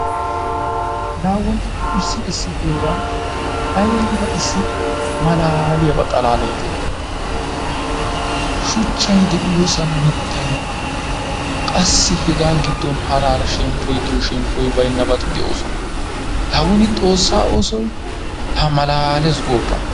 La wonni issi issi heeray ayba issi malaaliyaba xalaalay de'i? Ha shuchchay de'iyosan miittay qassi hegaa giddon hara hara shemppoy de'iyo shemppoy baynabati de'osona. La wonni xoossa oosoy la malaales goppa!